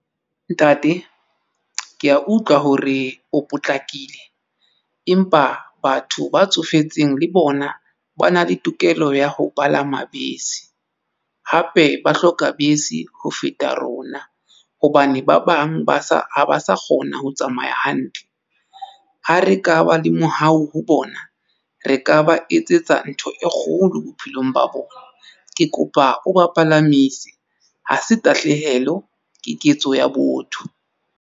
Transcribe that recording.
Ntate ke ya utlwa hore o potlakile empa batho ba tsofetseng le bona ba na le tokelo ya ho palama bese hape ba hloka bese ho feta rona hobane ba bang ba sa ha ba sa kgona ho tsamaya hantle, ha re ka ba le mohao ho bona re ka ba etsetsa ntho e kgolo bophelong ba bona. Ke kopa o ba palamise. Ha se tahlehelo ke ketso ya botho.